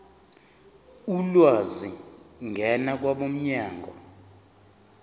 ulwazi ngena kwabomnyango